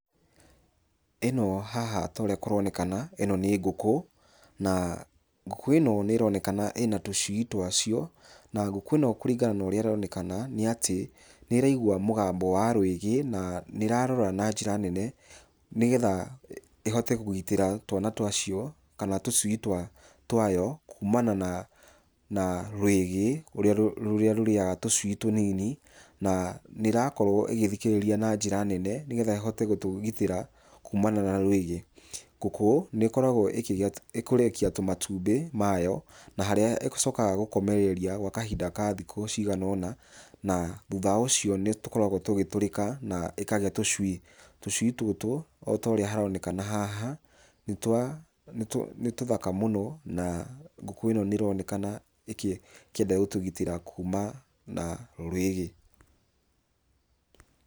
Ĩno haha ta ũrĩa kũronekana, ĩno nĩ ngũkũ, na ngũkũ ĩno nĩ ĩronekana ĩna twacio na ngũkũ ĩno kũringana na ũrĩa ĩronekana nĩ atĩ nĩ ĩraigua mũgambo wa rwĩgĩ, na nĩ ĩrarora na njĩra nene nĩgetha ĩhote kũgitĩra twana twacio kana tũcui twayo kuumana na rwĩgĩ rũrĩa rũrĩaga tũcui tũnini na nĩ ĩrakorwo ĩgĩthikĩrĩria na njĩra nene nĩgetha ĩhote gũtũgitĩra kuumana na rwĩgĩ. Ngũkũ nĩ ĩkoragwo ĩkĩrekia tũmatumbĩ mayo na harĩa ĩcokaga gũkomereria gwa kahinda ka thikũ cigana ona na thutha ũcio nĩ tũkoragwo tũgĩtũrĩka na ĩkagĩa tũcui. Tũcui tũtũ o ta ũrĩa tũronekana haha nĩ tũthaka mũno na ngũkũ ĩno nĩ ĩronekana ĩkĩenda gũtũgitĩra kuumana na rwĩgĩ.